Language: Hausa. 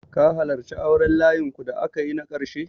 Ka halarci auren layinku da aka yi na ƙarshe?